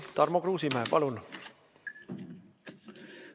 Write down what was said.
Tarmo Kruusimäe, palun!